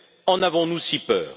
En avons nous si peur?